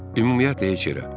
Ümumiyyətlə heç yerə.